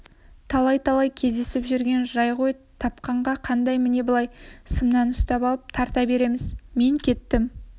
талай-талай кездесіп жүрген жай ғой тапқанда қандай міне былай сымнан ұстап алып тарта береміз мен кеттім